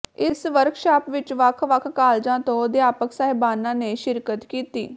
ਇਸ ਵਰਕਸ਼ਾਪ ਵਿਚ ਵੱਖ ਵੱਖ ਕਾਲਜਾਂ ਤੋਂ ਅਧਿਆਪਕ ਸਾਹਿਬਾਨਾਂ ਨੇ ਸ਼ਿਰਕਤ ਕੀਤੀ